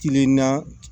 Kilenna